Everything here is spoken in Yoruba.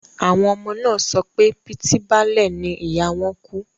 Àwọn ọmọ náà sọ pé pitibale ni ìyá wọn kú